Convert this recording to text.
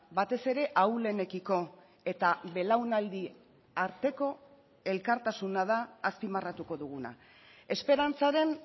batez ere ahulenekiko eta belaunaldi arteko elkartasuna da azpimarratuko duguna esperantzaren